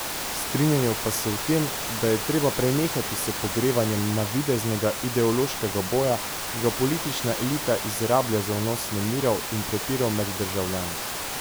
Strinjajo pa se v tem, da je treba prenehati s pogrevanjem navideznega ideološkega boja, ki ga politična elita izrablja za vnos nemirov in prepirov med državljane.